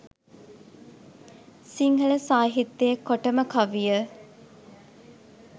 සිංහල සාහිත්‍යයේ කොටම කවිය